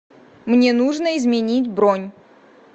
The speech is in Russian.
мне нужно изменить бронь